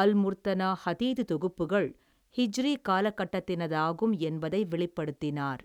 அல்முர்த்தனா ஹதீது தொகுப்புகள் ஹிஜ்ரி காலகட்டத்தினதாகும் என்பதை வெளிப்படுத்தினார்.